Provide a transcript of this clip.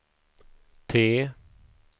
T